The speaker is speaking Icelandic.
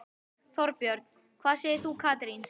Þorbjörn: Hvað segir þú Katrín?